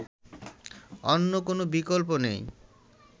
অন্য কোন বিকল্প নেই